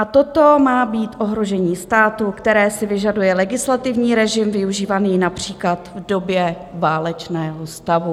A toto má být ohrožení státu, které si vyžaduje legislativní režim využívaný například v době válečného stavu.